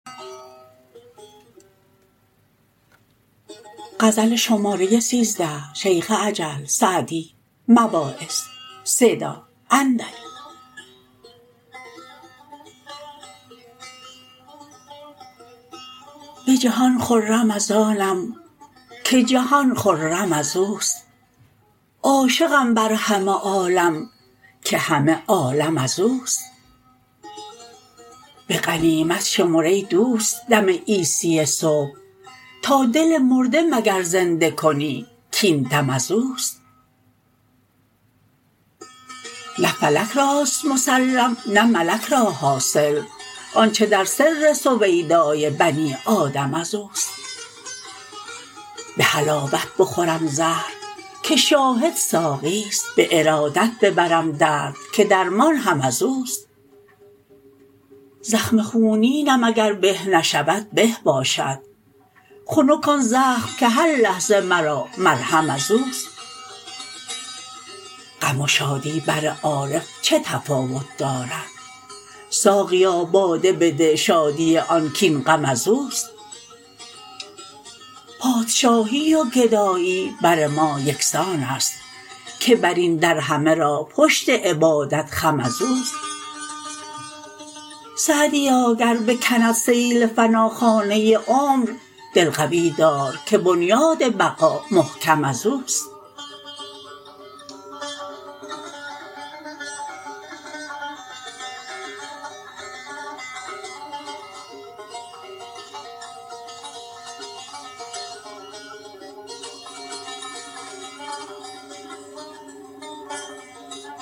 به جهان خرم از آنم که جهان خرم از اوست عاشقم بر همه عالم که همه عالم از اوست به غنیمت شمر ای دوست دم عیسی صبح تا دل مرده مگر زنده کنی کاین دم از اوست نه فلک راست مسلم نه ملک را حاصل آنچه در سر سویدای بنی آدم از اوست به حلاوت بخورم زهر که شاهد ساقیست به ارادت ببرم درد که درمان هم از اوست زخم خونینم اگر به نشود به باشد خنک آن زخم که هر لحظه مرا مرهم از اوست غم و شادی بر عارف چه تفاوت دارد ساقیا باده بده شادی آن کاین غم از اوست پادشاهی و گدایی بر ما یکسان است که بر این در همه را پشت عبادت خم از اوست سعدیا گر بکند سیل فنا خانه عمر دل قوی دار که بنیاد بقا محکم از اوست